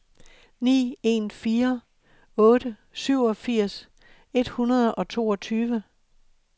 ni en fire otte syvogfirs et hundrede og toogtyve